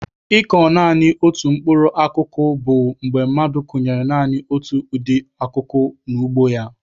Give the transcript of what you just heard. Ịkọ naanị otu mkpụrụ akụkụ bụ mgbe mmadụ kụnyere naanị otu ụdị akụkụ n'ugbo ya.